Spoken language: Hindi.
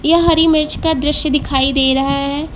यह हरी मिर्च का दृश्य दिखाई दे रहा है।